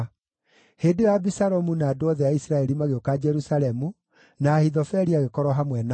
Hĩndĩ ĩyo Abisalomu na andũ othe a Isiraeli magĩũka Jerusalemu, na Ahithofeli agĩkorwo hamwe nao.